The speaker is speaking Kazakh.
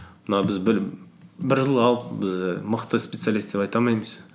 мына біз бір жыл қалды біз мықты специалист деп айта алмаймыз